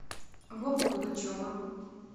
вовы пугачева